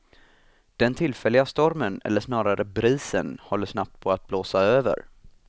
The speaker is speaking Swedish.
Den tillfälliga stormen, eller snarare brisen, håller snabbt på att blåsa över.